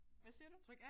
Hvad siger du?